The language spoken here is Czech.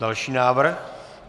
Další návrh.